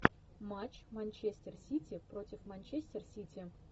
матч манчестер сити против манчестер сити